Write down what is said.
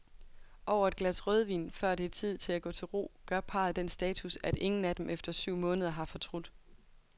Over et glas rødvin, før det er tid at gå til ro, gør parret den status, at ingen af dem efter syv måneder har fortrudt.